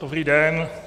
Dobrý den.